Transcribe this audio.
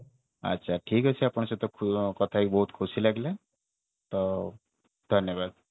ଠିକ ଅଛି ଆପଣଙ୍କ ସହିତ କଥା ହେଇକି ବହୁତ ଖୁସି ଲାଗିଲା ତ ଧନ୍ୟବାଦ